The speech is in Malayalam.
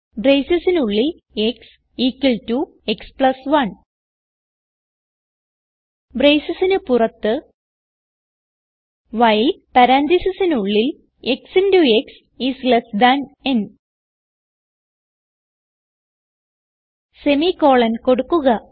bracesനുള്ളിൽ x equal to x plus 1 bracesന് പുറത്ത് വൈൽ പരാൻതീസിസിനുള്ളിൽ ക്സ് ഇന്റോ ക്സ് ന് സെമി കോളൻ കൊടുക്കുക